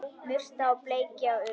Murta og bleikja og urriði